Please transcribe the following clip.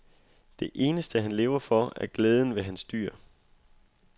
Det eneste han lever for, er glæden ved hans dyr.